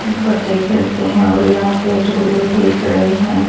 बच्चे खेलते हैं और यहाँ पे झूले वी दिख रहें हैं।